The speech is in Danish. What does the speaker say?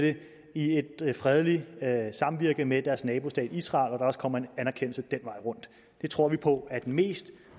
i et fredeligt samvirke med deres nabostat israel også kommer en anerkendelse den vej rundt det tror vi på er den bedste